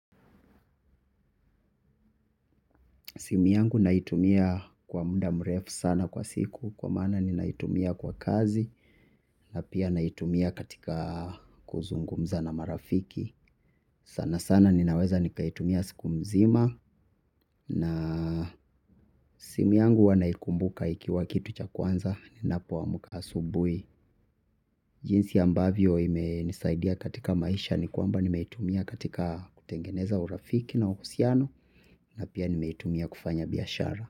Simu yangu naitumia kwa muda mrefu sana kwa siku kwa maana ninaitumia kwa kazi na pia naitumia katika kuzungumza na marafiki. Sanasana ninaweza nikaitumia siku mzima na simu yangu huwa naikumbuka ikiwa kitu cha kwanza ninapo amuka asubui. Jinsi ambavyo imenisaidia katika maisha ni kwamba nimeitumia katika kutengeneza urafiki na uhusiano na pia nimeitumia kufanya biashara.